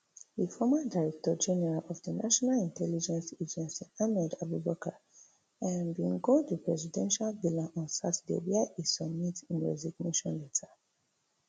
di former director general of di national intelligence agency ahmed abubakar um bin go di presidential villa on saturday wia e submit im resignation letter